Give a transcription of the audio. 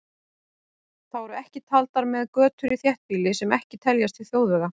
Þá eru ekki taldar með götur í þéttbýli sem ekki teljast til þjóðvega.